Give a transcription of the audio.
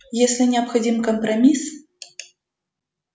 если необходим компромисс